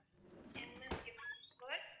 M. S. Gift world